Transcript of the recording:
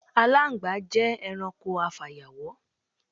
Aláǹgbá jé̩ e̩ranko afàyàwó̩.